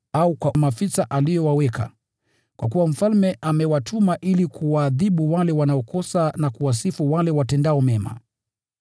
au kwa maafisa aliowaweka, kwa kuwa mfalme amewatuma ili kuwaadhibu wale wanaokosa, na kuwapongeza wale watendao mema.